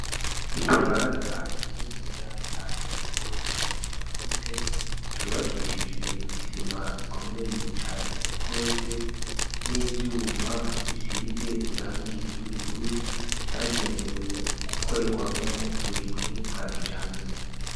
Ikibanza kininiya cane gose cagutse, cubakishijwe isima ikomeye cane gose n'ivyuma bisize irangi ry'ubururu, cagenewe gukorerwamwo uburimyi bwa kijambere.